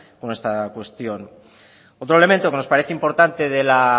con esta cuestión otro elemento que nos parece importante de la